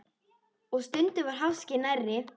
Og stundum var háskinn nærri.